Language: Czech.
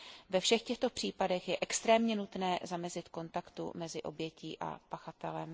Ve všech těchto případech je extrémně nutné zamezit kontaktu mezi obětí a pachatelem.